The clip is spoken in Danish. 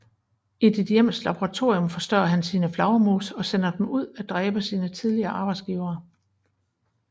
I sit hjems laboratorium forstørrer han sine flagermus og sender dem ud at dræbe sine tidligere arbejdsgivere